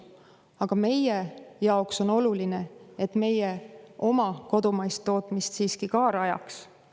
Aga meie jaoks on oluline, et me oma kodumaist tootmist siiski ka rajaks.